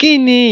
Kini